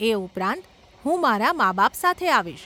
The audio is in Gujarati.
એ ઉપરાંત, હું મારા માબાપ સાથે આવીશ.